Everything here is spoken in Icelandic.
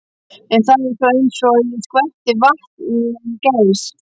En það var eins og að skvetta vatni á gæs.